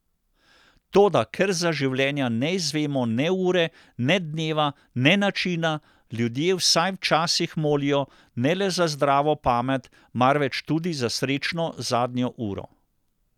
Toda ker za življenja ne izvemo ne ure, ne dneva, ne načina, ljudje vsaj včasih molijo ne le za zdravo pamet, marveč tudi za srečno zadnjo uro.